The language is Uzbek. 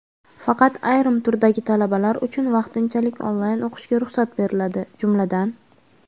Faqat ayrim turdagi talabalar uchun vaqtinchalik onlayn o‘qishga ruxsat beriladi, jumladan:.